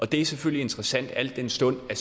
det er selvfølgelig interessant al den stund at